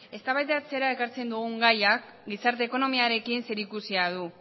eztabaidatzera ekartzen dugun gaiak gizarte ekonomiarekin zerikusia du